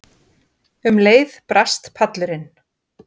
Um leið brast pallurinn.